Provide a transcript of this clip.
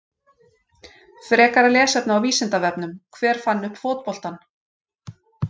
Frekara lesefni á Vísindavefnum: Hver fann upp fótboltann?